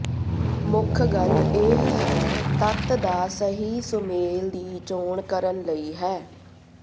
ਮੁੱਖ ਗੱਲ ਇਹ ਹੈ ਤੱਤ ਦਾ ਸਹੀ ਸੁਮੇਲ ਦੀ ਚੋਣ ਕਰਨ ਲਈ ਹੈ